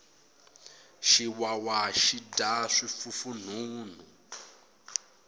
xiwawa xi dya swifufunhunhu